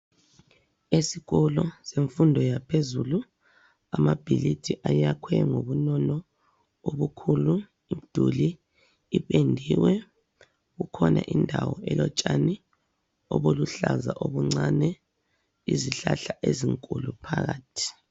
Esikolo semfundo yaphezulu amabhilidi ayakhwe ngobunono obukhulu. Imduli ipendiwe kukhona indawo elotshani obuluhlaza obuncane. Izihlahla ezinkulu phakathi.